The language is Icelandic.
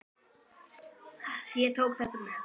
Ég tók þetta með.